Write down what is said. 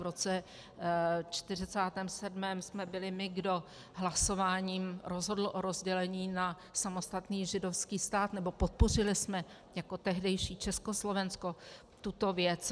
V roce 1947 jsme byli my, kdo hlasováním rozhodl o rozdělení na samostatný židovský stát - nebo podpořili jsme jako tehdejší Československo tuto věc.